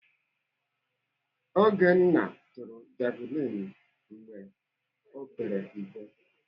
Ogenna tụrụ javilini mgbe ọ père mpe.